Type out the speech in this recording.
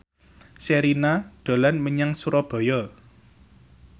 Sherina dolan menyang Surabaya